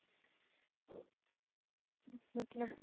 ਮਤਲਬ ਤੁਸੀਂ